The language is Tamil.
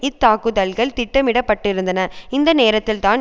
இத்தாக்குதல்கள் திட்டமிடப்பட்டிருந்தன அந்த நேரத்தில்தான்